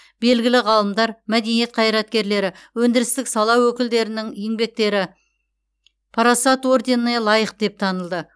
белгілі ғалымдар мәдениет қайраткерлері өндірістік сала өкілдерінің еңбектері парасат орденіне лайық деп танылды